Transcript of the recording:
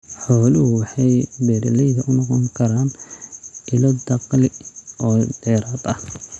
Xooluhu waxay beeralayda u noqon karaan ilo dakhli oo dheeraad ah.